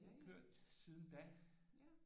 Og det har kørt siden da